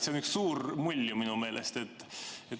See on üks suur mull minu meelest.